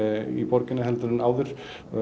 í borginni en áður